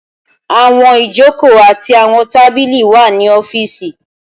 Awọn ijoko ati awọn tabili wa ni ọfiisi.